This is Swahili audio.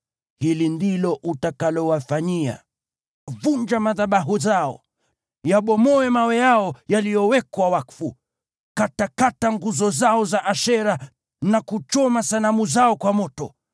Hili ndilo utakalowafanyia: Vunja madhabahu yao, vunja mawe yao ya kuabudia, katakata nguzo zao za Ashera na kuchoma sanamu zao kwa moto.